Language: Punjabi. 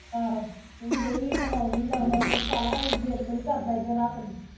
ਆਹੋ ਤੂੰ ਵੀ ਡਈ ਐ ਪਕਾਉਣ ਡਈ ਦਵਾ ਦਵ ਮੈਂ ਕਿਹਾ ਪਕਾ ਲਾ ਏਹ ਜਿੱਦ ਬੜੀ ਕਰਦਾ ਈ ਫਿਰ ਰਾਤ ਨੂੰ